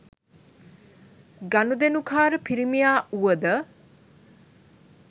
ගනුදෙනුකාර පිරිමියා වුවද